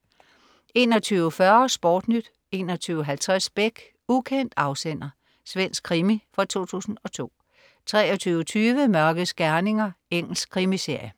21.40 SportNyt 21.50 Beck. Ukendt afsender. Svensk krimi fra 2002 23.20 Mørkets gerninger. Engelsk krimiserie